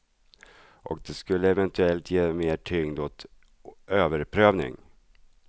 Och det skulle eventuellt ge mer tyngd åt överprövning.